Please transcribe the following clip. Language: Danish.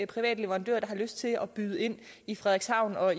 private leverandører der har lyst til at byde ind i frederikshavn og